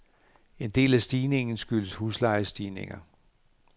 En del af stigningen skyldes huslejestigninger.